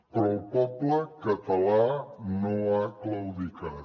però el poble català no ha claudicat